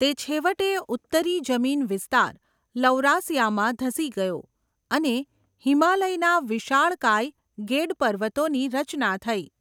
તે છેવટે ઉત્તરી જમીન વિસ્તાર લૌરાસિયામાં ધસી ગયો અને હિમાલયના વિશાળકાય ગેડ પર્વતોની રચના થઈ.